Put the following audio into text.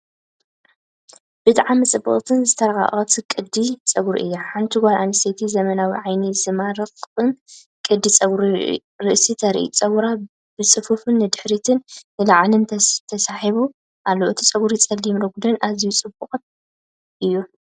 ብጣዕሚ ጽብቕትን ዝተራቐቐን ቅዲ ጸጉሪ እያ! ሓንቲ ጓል ኣንስተይቲ ዘመናውን ዓይኒ ዝማርኽን ቅዲ ጸጉሪ ርእሲ ተርኢ። ጸጉራ ብጽፉፍ ንድሕሪትን ንላዕሊን ተሰሒቡ ኣሎ። እቲ ጸጕሪ ጸሊምን ረጒድን ኣዝዩ ጽቡቕን እዩ።